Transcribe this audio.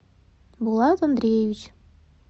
булат андреевич